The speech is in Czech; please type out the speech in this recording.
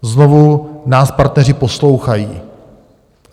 Znovu nás partneři poslouchají.